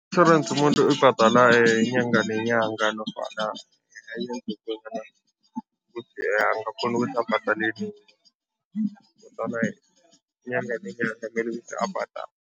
Itjhorensi umuntu uyibhadala inyanga nenyanga nofana ukuthi angakghona ukuthi ayibhadale nini inyanga nenyanga abhadale.